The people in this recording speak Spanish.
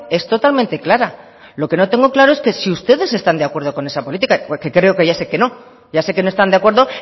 es totalmente clara lo que no tengo claro es si ustedes están de acuerdo con esa política porque creo que ya sé que no ya sé que no están de acuerdo